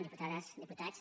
diputades diputats